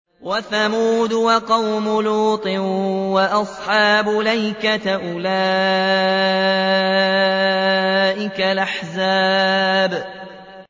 وَثَمُودُ وَقَوْمُ لُوطٍ وَأَصْحَابُ الْأَيْكَةِ ۚ أُولَٰئِكَ الْأَحْزَابُ